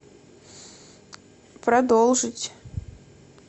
продолжить